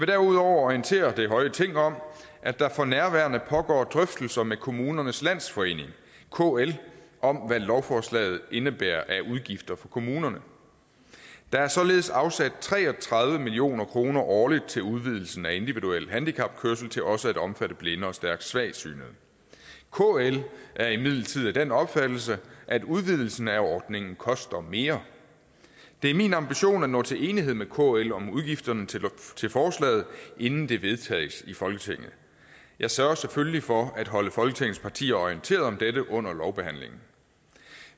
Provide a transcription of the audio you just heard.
derudover orientere det høje ting om at der for nærværende pågår drøftelser med kommunernes landsforening kl om hvad lovforslaget indebærer af udgifter for kommunerne der er således afsat tre og tredive million kroner årligt til udvidelsen af individuel handicapkørsel til også at omfatte blinde og stærkt svagsynede kl er imidlertid af den opfattelse at udvidelsen af ordningen koster mere det er min ambition at nå til enighed med kl om udgifterne til forslaget inden det vedtages i folketinget jeg sørger selvfølgelig for at holde folketingets partier orienteret om dette under lovbehandlingen